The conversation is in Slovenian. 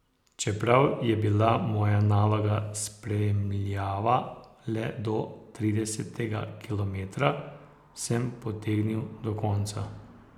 Čeprav je bila moja naloga spremljava le do tridesetega kilometra, sem potegnil do konca.